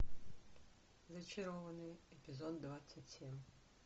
зачарованные эпизод двадцать семь